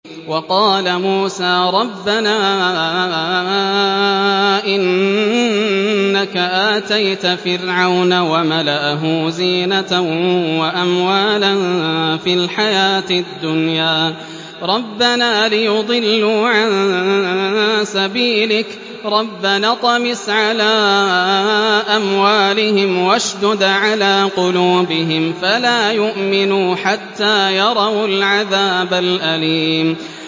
وَقَالَ مُوسَىٰ رَبَّنَا إِنَّكَ آتَيْتَ فِرْعَوْنَ وَمَلَأَهُ زِينَةً وَأَمْوَالًا فِي الْحَيَاةِ الدُّنْيَا رَبَّنَا لِيُضِلُّوا عَن سَبِيلِكَ ۖ رَبَّنَا اطْمِسْ عَلَىٰ أَمْوَالِهِمْ وَاشْدُدْ عَلَىٰ قُلُوبِهِمْ فَلَا يُؤْمِنُوا حَتَّىٰ يَرَوُا الْعَذَابَ الْأَلِيمَ